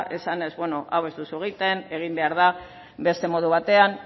esanez beno hau ez duzu egiten egin behar da beste modu batean